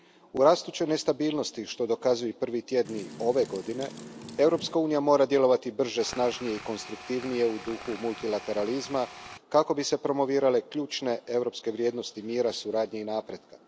U rastućoj nestabilnosti, što dokazuju i prvi tjedni ove godine, Europska unija mora djelovati brže, snažnije i konstruktivnije, u duhu multilateralizma, kako bi se promovirale ključne europske vrijednosti mira, suradnje i napretka.